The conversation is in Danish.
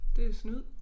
Det snyd